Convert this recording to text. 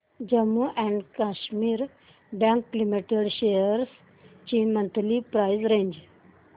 Jammu and Kashmir bank limited shares ची monthly price range